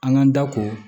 An k'an da ko